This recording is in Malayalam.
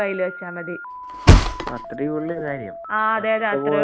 അത്രേയുള്ളു കാര്യം. *നോട്ട്‌ ക്ലിയർ* പോവണ്ട ആവശ്യമില്ല.